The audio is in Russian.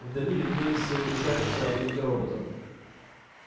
вдали виднелись все уменьшающиеся огоньки роботов